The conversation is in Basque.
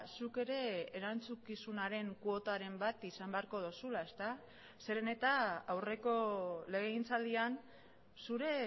zuk ere erantzukizunaren kuotaren bat izan beharko duzula zeren eta aurreko legegintzaldian zure